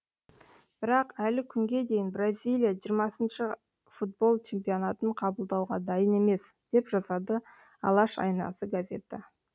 бірақ әлі күнге дейін бразилия жиырмасыншы футбол чемпионатын қабылдауға дайын емес деп жазады алаш айнасы газеті